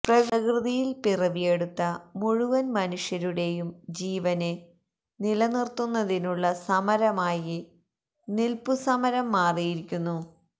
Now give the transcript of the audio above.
പ്രകൃതിയില് പിറവിയെടുത്ത മുഴുവന് മനുഷ്യരുടെയും ജീവന് നിലനിര്ത്തുന്നതിനുള്ള സമരമായി നില്പ്പുസമരം മാറിയിരിക്കുന്നു